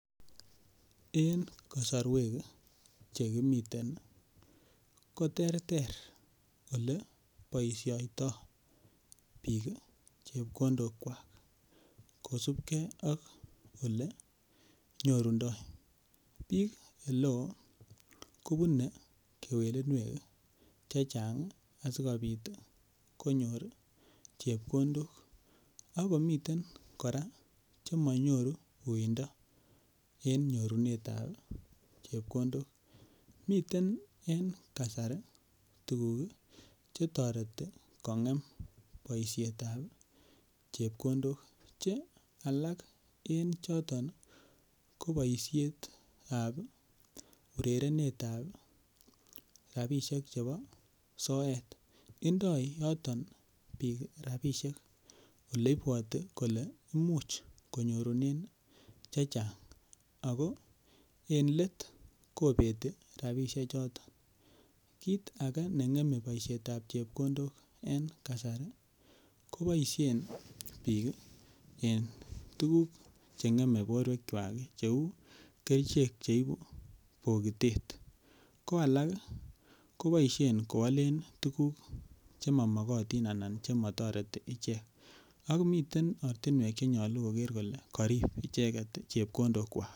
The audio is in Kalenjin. En kasorwek chekimiten koterter yebaisiato bik chebkondok kuak. Kosubke ak ole nyurundo. Bik oleo kobunei kewelinuek chechang ih asikobit konyor chebkondok. Akomiten kora chemanyoru uuindo. En nyorunetab chebkondok miten en kasari tuguk ih chetoreti kong'em boisietab chebkondok. Che alak en choton ko baisietab orerenetab rabisiek chebo soet. Indoi yoton bik rabisiek oleibuati kole imuch konyorunen chechang Ako en let ih kobeti rabisiek choton. Kit age neng'eme boisietab chebkondok en kasari ih kobaisien bik en tukuk chen'geme boruekuak cheuu kerichek cheibu bikitet ko alak koboisien koalen tuguk chemamagotin anan chematareti icheket. Akomiten ortinuek cheyache kole karib chebkondokkuak .